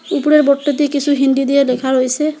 উপরের বোর্ডটা দিয়ে কিসু হিন্দি দিয়ে লেখা রয়েসে ।